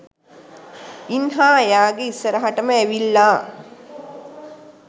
ඉන්හා එයාගෙ ඉස්සරහටම ඇවිල්ලා